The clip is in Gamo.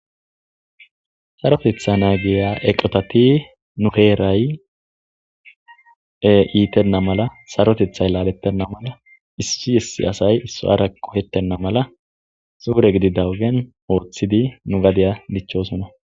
Sarotetha naagiya eqotati nu heeray iitenna mala sarotethay laalettenna mala issi essi asay isso ara qohettenna mala suure gidi dawugen ooththidi nu gadiya dichchosona.